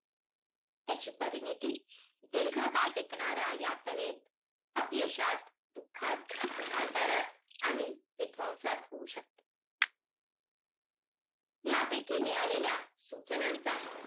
त्याची परिणीती दीर्घकाळ टिकणाऱ्या यातनेत, अपयशात, दुःखात, आजारात आणि विध्वंसात होऊ शकते. यापैकी मिळालेल्या, सूचनांचा,